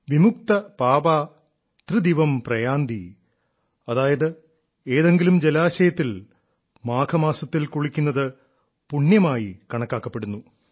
വിമുക്ത പാപാ ത്രിദിവം പ്രയാന്തി അതായത് ഏതെങ്കിലും ജലാശയത്തിൽ മാഘമാസത്തിൽ കുളിക്കുന്നത് പുണ്യമായി കണക്കാക്കപ്പെടുന്നു